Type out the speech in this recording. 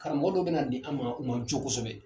Karamɔgɔ dɔ bɛna di an ma u ma jo kosɛbɛ